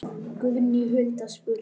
Guðný Hulda spurði